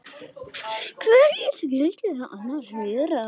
Hverjir skyldu það annars vera?